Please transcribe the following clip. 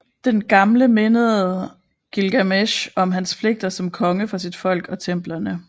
Den gamle mindede Gilgamesh om hans pligter som konge for sit folk og templerne